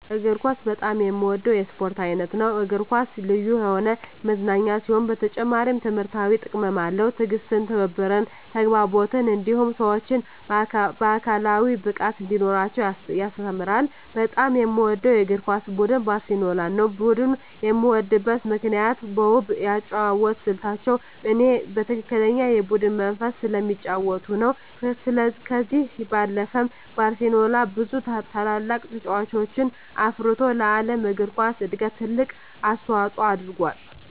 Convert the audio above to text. እግር ኳስ በጣም የምወደው የስፖርት አይነት ነው። እግር ኳስ ልዩ የሆነ መዝናኛ ሲሆን በተጨማሪም ትምህርታዊ ጥቅምም አለው። ትዕግስትን፣ ትብብርን፣ ተግባቦትን እንዲሁም ሰወች አካላዊ ብቃት እንዲኖራቸው ያስተምራል። በጣም የምወደው የእግር ኳስ ቡድን ባርሴሎናን ነው። ቡድኑን የምወድበት ምክንያት በውብ የአጨዋወት ስልታቸው እኔ በትክክለኛ የቡድን መንፈስ ስለሚጫወቱ ነው። ከዚህ ባለፈም ባርሴሎና ብዙ ታላላቅ ተጫዋቾችን አፍርቶ ለዓለም እግር ኳስ እድገት ትልቅ አስተዋፅኦ አድርጎአል።